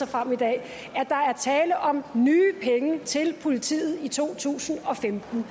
frem i dag at der er tale om nye penge til politiet i to tusind og femten